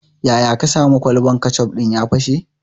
Yaya ka sani kwalban kecof ɗin ya fashe?